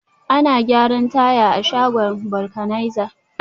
Ana gyaran taya a shagon vulcanizer